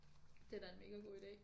Det da en mega god idé